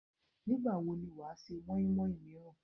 Nígbà wo ni wàá se móínmóín míràn?